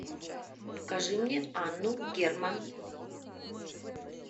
покажи мне анну герман